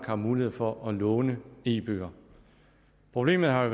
har mulighed for at låne e bøger problemet har